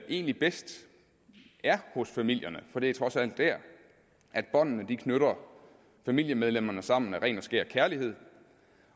egentlig bedst er hos familierne for det er trods alt der at båndene knytter familiemedlemmerne sammen af ren og skær kærlighed